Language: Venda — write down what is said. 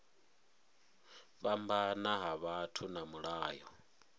fhambana ha vhathu na mulayo